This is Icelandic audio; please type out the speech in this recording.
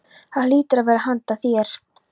Það hlýtur að vera handa þér.